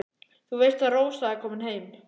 Þú veist að Rósa er komin heim.